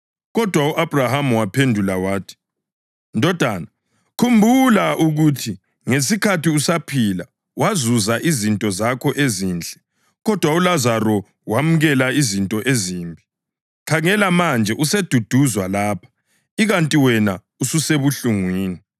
Kodwa u-Abhrahama waphendula wathi, ‘Ndodana, khumbula ukuthi ngesikhathi usaphila wazuza izinto zakho ezinhle kodwa uLazaro wemukela izinto ezimbi, khangela manje useduduzwa lapha, ikanti wena ususebuhlungwini.